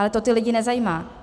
Ale to ty lidi nezajímá.